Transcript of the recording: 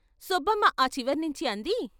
సుబ్బమ్మ ఆ చివర్నించి అంది.